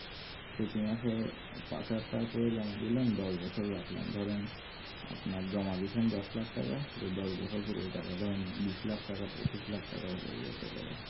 প্রতি মাসে পাঁচ হাজার টাকা করে জমা দিলাম দোষ বছর রাখলাম আপনার জমা দিচ্ছেন দোষ লক্ষ টাকা ওই দোষ বছরে পুরো টাকাটা বিশ লাখ টাকা বা পঁচিশ লাখ টাকা হয়ে যায়